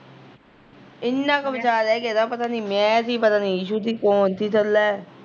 ਇਨਾ ਕੁ ਬਚਾ ਰਹਿ ਗਿਆ ਤਾ ਪਤਾ ਨੀ ਮੈਂ ਤੀ ਪਤਾ ਨੀ ਇਸ਼ਊ ਤੀ ਕੋਣ ਥੀ ਥੱਲੇ